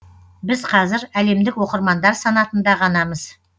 біз қазір әлемдік оқырмандар санатында ғанамыз